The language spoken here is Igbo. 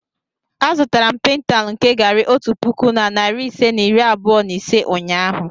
Azụtara m paintal nke garri otu puku na narị ise na iri abụọ na ise ụnyahụ.